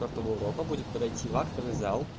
карта урока будет подойти в актовый